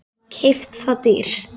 Keypt það dýrt.